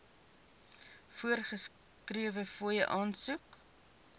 voorgeskrewe fooie aansoek